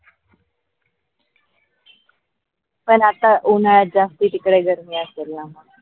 पन आता उन्हाळ्यात जास्ती तिकडे गर्मी असेल न